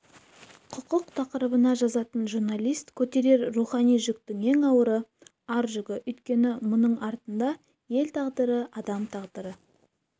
құқық тақырыбына жазатын журналист көтерер рухани жүктің ең ауыры ар жүгі өйткені мұның артында ел тағдыры адам тағдыры